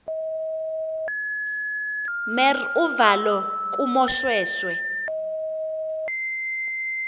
mer uvalo kumoshweshwe